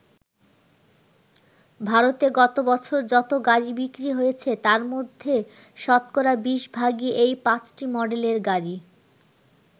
ভারতে গত বছর যত গাড়ি বিক্রি হয়েছে তার মধ্যে শতকরা ২০ ভাগই এই পাঁচটি মডেলের গাড়ি।